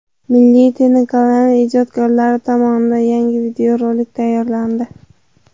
Milliy telekanali ijodkorlari tomonidan yangi videorolik tayyorlandi.